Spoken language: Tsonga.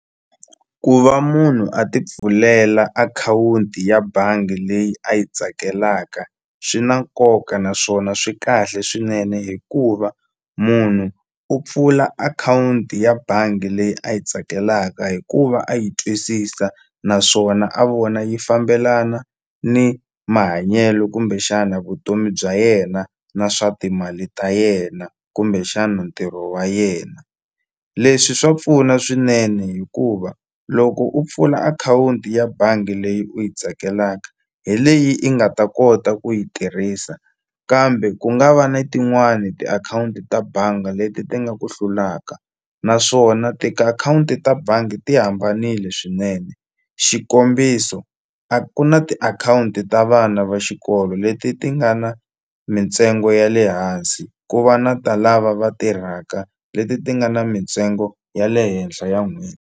Ku va munhu a ti pfulela akhawunti ya bangi leyi a yi tsakelaka swi na nkoka naswona swi kahle swinene hikuva munhu u pfula akhawunti ya bangi leyi a yi tsakelaka hikuva a yi twisisa naswona a vona yi fambelana ni mahanyelo kumbexana vutomi bya yena na swa timali ta yena kumbexana ntirho wa yena leswi swa pfuna swinene hikuva loko u pfula akhawunti ya bangi leyi u yi tsakelaka hi leyi i nga ta kota ku yi tirhisa kambe ku nga va ni tin'wani tiakhawunti ta banga leti ti nga ku hlulaka naswona tiakhawunti ta bangi ti hambanile swinene xikombiso a ku na tiakhawunti ta vana va xikolo leti ti nga na mintsengo ya le hansi ku va na ta lava va tirhaka leti ti nga na mintsengo ya le henhla ya .